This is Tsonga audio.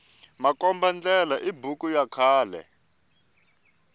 makomba ndlela i buku ya khale